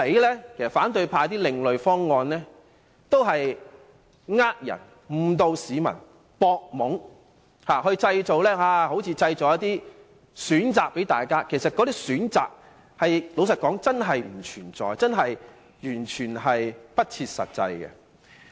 說到底，反對派所提的另類方案也是為了騙人、誤導市民和佔便宜而已，看似為大家製造一些選擇，但坦白說，那些並非真正的選擇，完全不切實際。